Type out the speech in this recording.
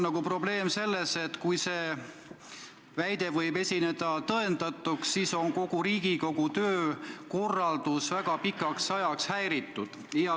Probleem on selles, et kui see väide osutub tõendatuks, siis on kogu Riigikogu töö väga pikaks ajaks häiritud.